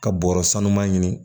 Ka bɔrɔ sanuya ɲini